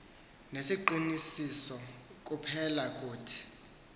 nesiqinisiso kuphela kuthi